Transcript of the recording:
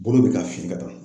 Bolo bi ka fin ka taa.